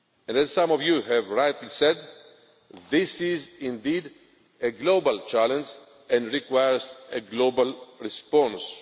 basis. As some of you have rightly said, this is indeed a global challenge and requires a global response.